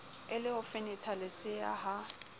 e le ho fenethalesea ha